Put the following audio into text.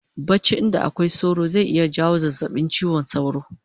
Bacci inda akwai sauro zai iya jawo zazzabin chiwon sauro